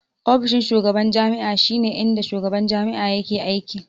Ofishin shugaban jami'a shi ne inda shugaban jami'a yake aiki